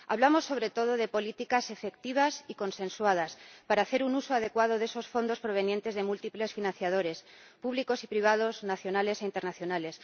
Hablamos, sobre todo, de políticas efectivas y consensuadas para hacer un uso adecuado de esos fondos provenientes de múltiples financiadores, públicos y privados, nacionales e internacionales.